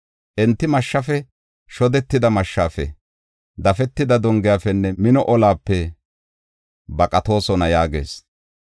Enti mashshafe, shohope shodetida mashshafe, dafetida dongefenne mino olape baqatoosona” yaagees.